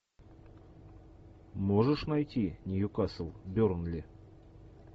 можешь найти ньюкасл бернли